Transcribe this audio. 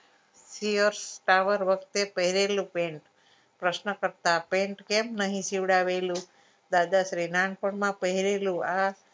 Fiarce tower વખતે પહેરેલું pant પ્રશ્ન કરતા pant કેમ નહિ સીવડાવેલુ દાદાશ્રી નાનપણ માં પહરેલું આ